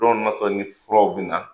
Dɔw natɔ ni furaw bi na.